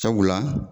Sabula